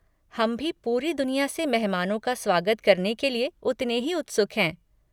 हम भी पूरी दुनिया से मेहमानों का स्वागत करने के लिए उतने ही उत्सुक हैं।